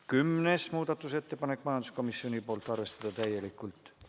Kümnes muudatusettepanek, majanduskomisjonilt, seisukoht: arvestada täielikult.